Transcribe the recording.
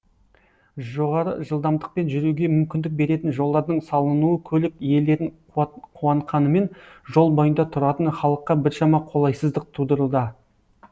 жоғары жылдамдықпен жүруге мүмкіндік беретін жолдардың салынуы көлік иелерін қуантқанымен жол бойында тұратын халыққа біршама қолайсыздық тудыруда